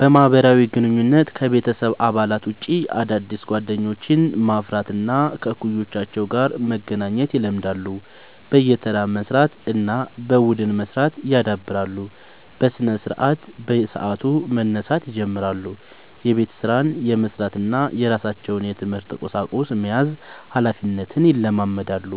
በማህበራዊ ግንኙነት: ከቤተሰብ አባላት ውጭ አዳዲስ ጓደኞችን ማፍራት እና ከእኩዮቻቸው ጋር መገናኘት ይለምዳሉ። በየተራ መስራት እና በቡድን መስራት ያዳብራሉ። በስነስርዓት : በሰዓቱ መነሳት ይጀምራሉ። የቤት ስራን የመስራት እና የራሳቸውን የትምህርት ቁሳቁስ መያዝ ሀላፊነትን ይለማመዳሉ።